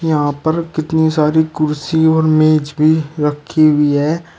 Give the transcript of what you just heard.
यहां पर कितनी सारी कुर्सी और मेज भी रखी हुई है।